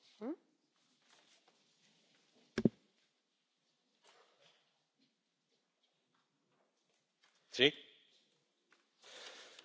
Señora presidenta... ¡Felicidades, Nathalie! El decomiso de bienes producto de actividades delictivas es un instrumento eficaz para combatir la delincuencia y el terrorismo